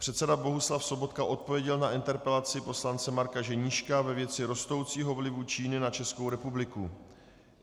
Předseda Bohuslav Sobotka odpověděl na interpelaci poslance Marka Ženíška ve věci rostoucího vlivu Číny na Českou republiku.